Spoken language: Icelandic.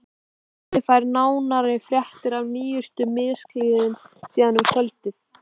Svenni fær nánari fréttir af nýjustu misklíðinni síðar um kvöldið.